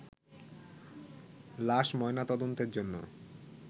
লাশ ময়নাতদন্তের জন্য